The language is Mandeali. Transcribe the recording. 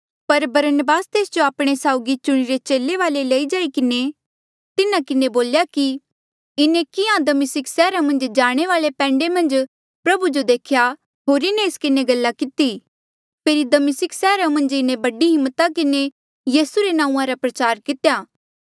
पर बरनबास तेस जो आपणे साउगी चुणिरे चेले वाले लई जाई किन्हें तिन्हा किन्हें बोल्या कि इन्हें किहाँ दमिस्का सैहरा मन्झ जाणे वाले पैंडे मन्झ प्रभु जो देख्या होर इन्हें एस किन्हें गल्ला किती फेरी दमिस्का मन्झ इन्हें बड़ी हिम्मता किन्हें यीसू रे नांऊँआं रा प्रचार कितेया